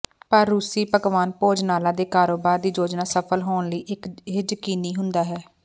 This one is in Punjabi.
ਪਰ ਰੂਸੀ ਪਕਵਾਨ ਭੋਜਨਾਲਾ ਦੇ ਕਾਰੋਬਾਰ ਦੀ ਯੋਜਨਾ ਸਫਲ ਹੋਣ ਲਈ ਇਹ ਯਕੀਨੀ ਹੁੰਦਾ ਹੈ